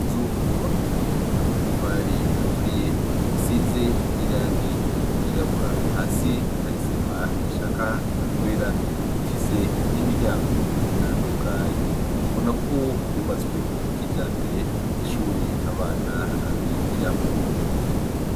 Inzu yubakishije amatafari aturiye, isize n’irangi ryirabura, hasi har’isima ishaka kwera ifise n’imiryango itandukanye. Ubonako yubatswe kijambere, nk’ishuri abana bigiramwo.